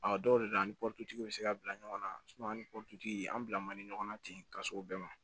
A dɔw de bɛ an ni bɛ se ka bila ɲɔgɔn na ani tigi an bila man di ɲɔgɔn na ten ka se o bɛɛ ma